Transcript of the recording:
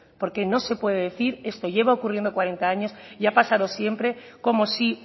porque no se puede decir esto lleva ocurriendo cuarenta años y ha pasado siempre como si